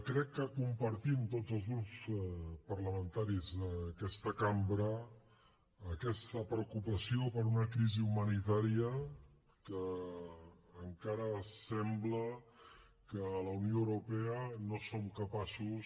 crec que compartim tots els grups parlamentaris d’aquesta cambra aquesta preocupació per una crisi humanitària que encara sembla que la unió europea no som capaços